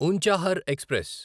Unchahar express